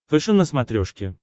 фэшен на смотрешке